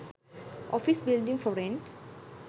office buildings for rent